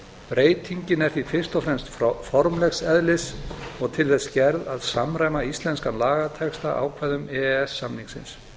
breytingin er fyrst og fremst formlegs eðlis og til þess gerð að samræma íslenskan lagatexta að ákvæðum e e s samningsins